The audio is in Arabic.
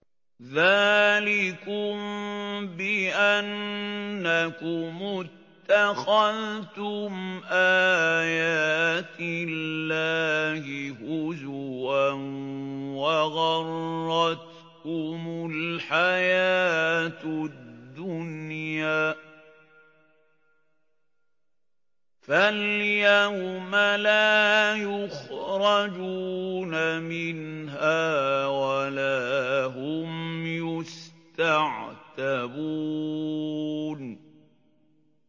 ذَٰلِكُم بِأَنَّكُمُ اتَّخَذْتُمْ آيَاتِ اللَّهِ هُزُوًا وَغَرَّتْكُمُ الْحَيَاةُ الدُّنْيَا ۚ فَالْيَوْمَ لَا يُخْرَجُونَ مِنْهَا وَلَا هُمْ يُسْتَعْتَبُونَ